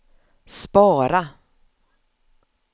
spara